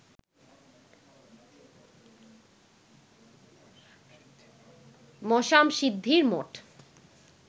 মশ্যামশিদ্ধির মঠ